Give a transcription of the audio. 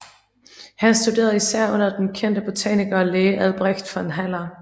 Han studerede især under den kendte botaniker og læge Albrecht von Haller